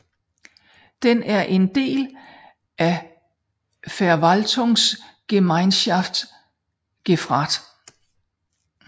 Den er en del af Verwaltungsgemeinschaft Grafrath